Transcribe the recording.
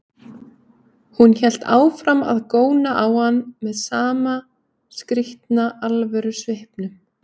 Hún hélt áfram að góna á hann með sama skrýtna alvörusvipnum.